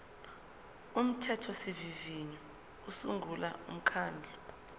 umthethosivivinyo usungula umkhandlu